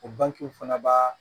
O bankew fana b'a